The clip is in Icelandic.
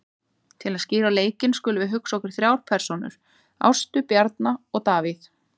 Til að skýra leikinn skulum við hugsa okkur þrjár persónur, Ástu, Bjarna og Davíð.